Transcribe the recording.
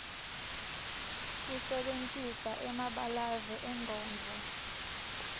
kusebentisa emabalave engcondvo